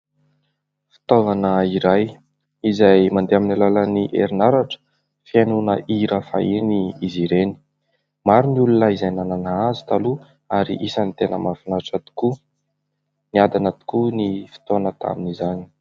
Fitaovana iray izay mandeha amin'ny alalan'ny erinaratra, fihainoana hira fahiny izy ireny. Maro ny olona izay nanana azy taloha ary isany tena mahafinaritra tokoa. Niadana tokoa ny fotoana tamin'izany.